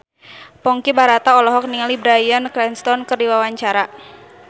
Ponky Brata olohok ningali Bryan Cranston keur diwawancara